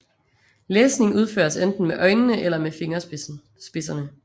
Læsning udføres enten med øjnene eller med fingerspidserne